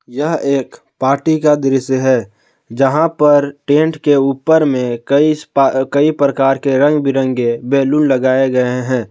यह एक पार्टी का दृश्य है जहां पर टेंट के ऊपर में कई इस्पा कई प्रकार के रंग बिरंगे बैलून लगाए गए हैं।